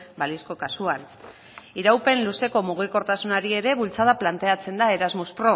balizko kasuan iraupen luzeko mugikortasunari ere bultzada planteatzen da erasmus